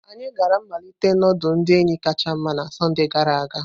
Anyị gara mmalite nudulu ndi enyi kacha nma na Sọnde gara aga.